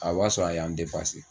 A b'a sɔrɔ a y'an